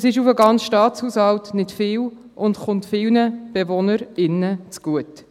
Das ist, auf den ganzen Staatshaushalt, nicht viel und kommt vielen Bewohnerinnen und Bewohnern zugute.